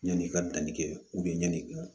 Yanni i ka danni kɛ ɲɛn'i kɛ